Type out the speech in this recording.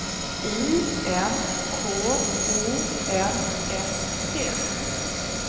I N K O M S T